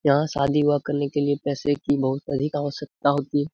यहाँ शादी व करने के लिए पैसे कि बहुत बड़ी आवशकता होती है।